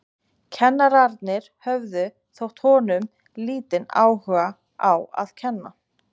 Kennararnir höfðu, þótti honum, lítinn áhuga á að kenna.